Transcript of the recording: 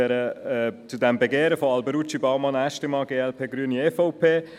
der BaK. Ich spreche jetzt also noch zum Anliegen Alberucci, Baumann, Aeschlimann, glp, Grüne, EVP.